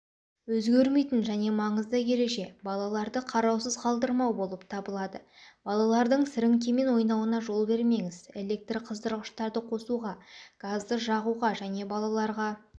өзгермейтін және маңызды ереже балаларды қараусыз қалдырмау болып табылады балалардың сіреңкемен ойнауына жол бермеңіз электр қыздырғыштарды қосуға газды жағуға және балаларға